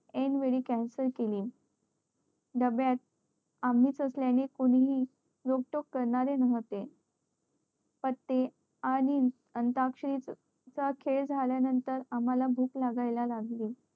N वेळी cancel केली डब्यात आम्ही सगळयांनी कोणीही रोक टोक करणारे नव्हते पते आणि अंताक्षरी चा खेळ झाल्या नंतर आम्हला भूक लागायला लागली